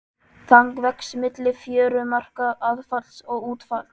Þang vex milli fjörumarka aðfalls og útfalls.